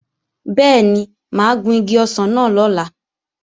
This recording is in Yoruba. Bẹ́ẹ̀ni, mà á gun igi ọsàn náà lọ́la